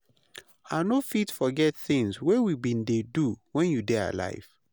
I no fit forget things wey we been dey do when you dey alive.